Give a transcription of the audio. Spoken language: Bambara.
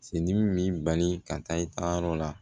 Se dimi b'i bali ka taa i taa yɔrɔ la